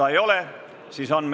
Istungi lõpp kell 14.03.